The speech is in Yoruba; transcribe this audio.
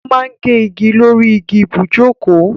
O ma gé igi lórí igi ibùjókòó.